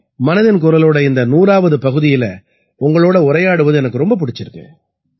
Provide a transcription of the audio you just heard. மனதின் குரலோட இந்த 100ஆவது பகுதியில உங்களோட உரையாடுவது எனக்கு ரொம்ப பிடிச்சிருக்கு